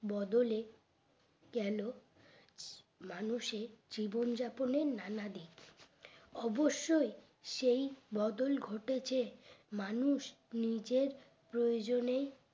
বদলে গেল মানুষের জীবন যাপনের নানা দিক অবশ্যই সেই বদল ঘটেছে মানুষ নিজের প্রয়োজনে